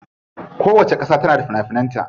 Kowacce kasa tana da fina finan ta.